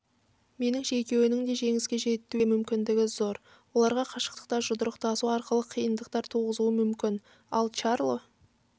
меніңше екеуінің де жеңіске жетуге мүмкіндігі зор лара қашықтықта жұдырықтасу арқылы қиындықтар туғызуы мүмкін ал чарло